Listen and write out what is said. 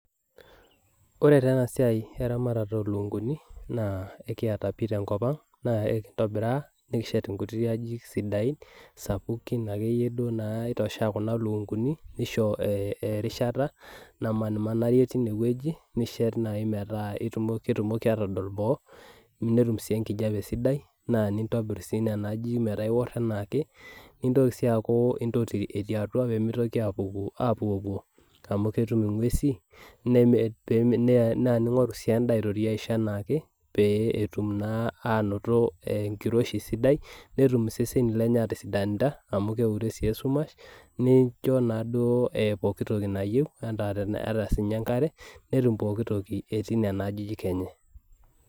Ore taa enasiai eramatata olukunkuni, naa ekiata pi tenkop ang, naa ekintobiraa nikishet inkuti ajijik sidain, sapukin akeyie duo naitoshea kuna lukunkuni, nisho erishata namanarie tinewueji, nishet nai metaa ketumoki atodol boo, netum si enkijape sidai, naa nintobir si nena ajijik metaa iwor enaake, nintoki si aku intoti etii atua pemitoki apuku apuopuo, amu ketum ing'uesi, na ning'oru si endaa aitoti aisho enaake, pee etum naa anoto enkiroshi sidai, netum iseseni lenye atisidanita, amu keure si esumash, nincho naduo pooki toki nayieu, ata sinye enkare, netum pooki toki etii nena ajijik enye.